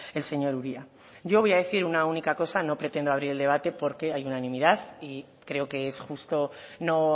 el señor uria yo voy a decir una única cosa no pretendo abrir el debate porque hay unanimidad y creo que es justo no